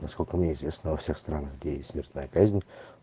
насколько мне известно во всех странах где есть смертная казнь